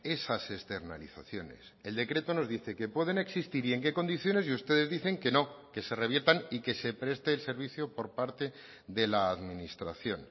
esas externalizaciones el decreto nos dice que pueden existir y en qué condiciones y ustedes dicen que no que se reviertan y que se preste el servicio por parte de la administración